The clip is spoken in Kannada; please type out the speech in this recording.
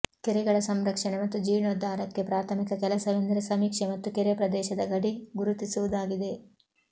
ಕೆರೆಗಳ ಸಂರಕ್ಷಣೆ ಮತ್ತು ಜೀರ್ಣೋದ್ದಾರಕ್ಕೆ ಪ್ರಾಥಮಿಕ ಕೆಲಸವೆಂದರೆ ಸಮೀಕ್ಷೆ ಮತ್ತು ಕೆರೆ ಪ್ರದೇಶದ ಗಡಿ ಗುರುತಿಸುವುದಾಗಿದೆ